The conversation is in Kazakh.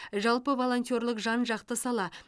жалпы волонтерлік жан жақты сала